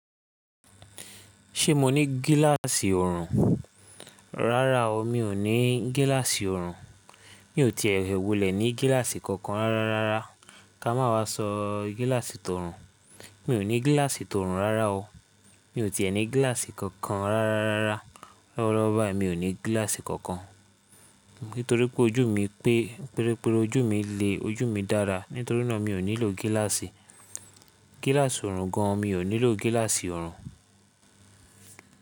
Ṣé mo ní gíláàsì ọ̀rùn? Rárá o, mi ò ní gíláàsì ọ̀rùn. Mi ò tíì è wulẹ̀ ní gíláàsì kankan rárá rárá. Ka máa wá sọ gíláàsì tó ọ̀rùn, mi ò ní gíláàsì tó ọ̀rùn rárá o. Mi ò tíì è ní gíláàsì kankan rárá rárá. Lọ́wọ́lọ́wọ́ báyìí mi ò ní gíláàsì kankan. Nítorí pé ojú mi pé, péré péré ojú mi le, ojú mi dára. Nítorí náà mi ò nílò gíláàsì. Gíláàsì ọ̀rùn gan mi ò nílò gíláàsì ọ̀rùn.